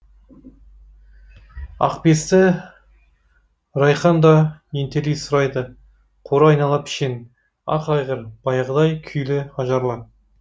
ақбесті райқан да ентелей сұрайды қора айнала пішен ақ айғыр баяғыдай күйлі ажарлы